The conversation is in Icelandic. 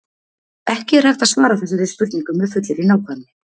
ekki er hægt að svara þessari spurningu með fullri nákvæmni